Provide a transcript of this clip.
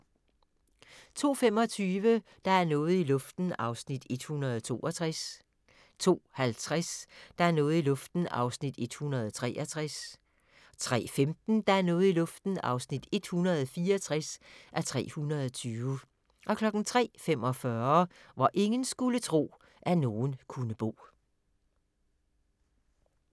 02:25: Der er noget i luften (162:320) 02:50: Der er noget i luften (163:320) 03:15: Der er noget i luften (164:320) 03:45: Hvor ingen skulle tro, at nogen kunne bo